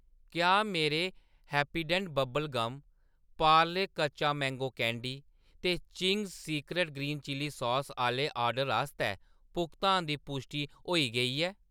क्या मेरे Happydent bubble gum , Parle कच्चा मैंगो कैंडी ते Ching's secret green chilli sauce आह्‌‌‌ले ऑर्डर आस्तै भुगतान दी पुश्टि होई गेई ऐ ?